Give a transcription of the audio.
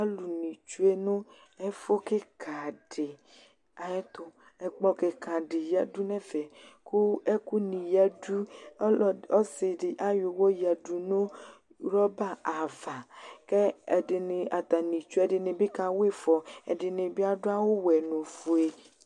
Alʋnɩ tsue nʋ ɛfʋ kɩka dɩ ayɛtʋ. Ɛkplɔ kɩka dɩ yǝdu nʋ ɛfɛ kʋ ɛkʋnɩ yǝdu. Ɔlɔd ɔsɩ dɩ ayɔ ʋɣɔ yǝdu nʋ rɔba ava kʋ ɛdɩnɩ atanɩ tsue ɛdɩnɩ kawa ɩfɔ, ɛdɩnɩ bɩ adʋ awʋwɛ nʋ ofue.